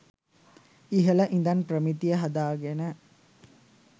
ඉහල ඉඳන් ප්‍රමිතිය හදාගෙන